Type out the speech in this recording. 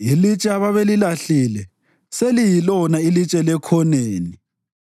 Ilitshe ababelilahlile seliyilona ilitshe lekhoneni;